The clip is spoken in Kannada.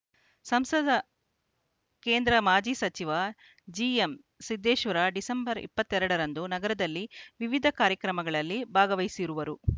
ಸಂಸದ ಕೇಂದ್ರ ಮಾಜಿ ಸಚಿವ ಜಿಎಂ ಸಿದ್ದೇಶ್ವರ ಡಿಸೆಂಬರ್ ಇಪ್ಪತ್ತೆರಡರಂದು ನಗರದಲ್ಲಿ ವಿವಿಧ ಕಾರ್ಯಕ್ರಮಗಳಲ್ಲಿ ಭಾಗವಹಿಸುವರು